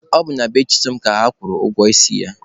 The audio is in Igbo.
Ọ bụ na be Chisom ka a nọrọ kwụọ ụgwọ isi ya.